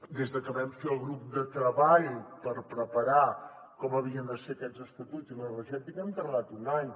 des de que vam fer el grup de treball per preparar com havien de ser aquests estatuts i l’energètica hem tardat un any